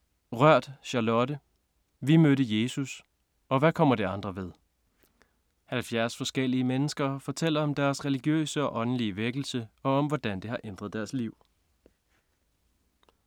Rørth, Charlotte: Vi mødte Jesus - og hvad kommer det andre ved? 70 forskellige mennesker fortæller om deres religiøse og åndelige vækkelse, og om hvordan det har ændret deres liv. Punktbog 418135 2018. 7 bind.